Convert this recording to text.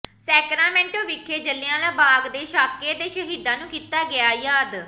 Sacramento ਵਿਖੇ ਜਲਿਆਂਵਾਲੇ ਬਾਗ ਦੇ ਸਾਕੇ ਦੇ ਸ਼ਹੀਦਾਂ ਨੂੰ ਕੀਤਾ ਗਿਆ ਯਾਦ